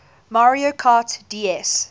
mario kart ds